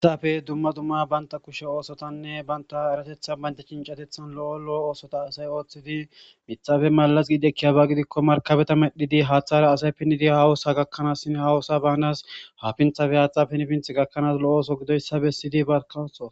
hihafe dumma dumma banta kushe oosotanne banta eratetha baynda chincatethan lo7o lo7o oosota asay ooththidi mitxafe malaz giidekkiyabaa gidikko markabeta medhidi haathara asay pinnidi hawusa gakkanaas sin hawusa baanas hafinthafe haaxxa pinfinth gakkanaas lo7oso gidoyssabe siydi barkawso